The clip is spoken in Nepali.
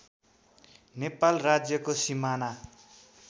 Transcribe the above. नेपाल राज्यको सिमाना